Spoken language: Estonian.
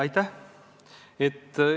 Aitäh!